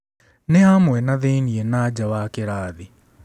Nĩ hamwe na thĩĩnie na nja wa kĩrathi.